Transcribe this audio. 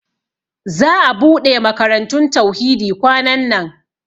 Za'a ɓuɗe makarantun Tauhidi kwanan nan.